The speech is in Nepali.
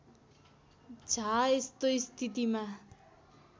झा यस्तो स्थितिमा